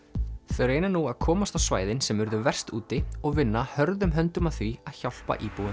þau reyna nú að komast á svæðin sem urðu verst úti og vinna hörðum höndum að því að hjálpa íbúum